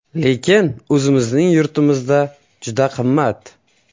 Lekin o‘zimizning yurtimizda o‘ta qimmat.